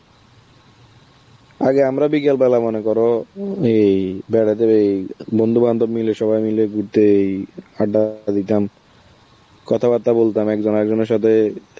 আগে আমরা বিকেল বেলা মনে করো উম এই বেড়াতে বেই~ বন্ধুবান্ধব মিলে, সবাই মিলে ঘুরতেই~ আড্ডা দিতাম, কথাবার্তা বলতাম একজন আরেকজনের সাথে,